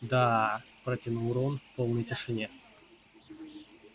да протянул рон в полной тишине